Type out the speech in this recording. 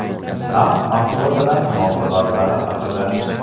Tramp Moskva bilan munosabatlari haqida.